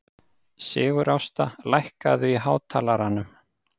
Sigurásta, lækkaðu í hátalaranum.